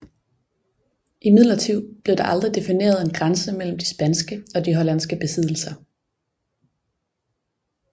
Imidlertid blev der aldrig defineret en grænse mellem de spanske og de hollandske besiddelser